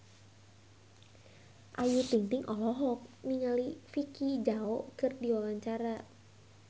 Ayu Ting-ting olohok ningali Vicki Zao keur diwawancara